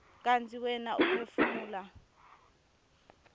kantsi wena uphefumula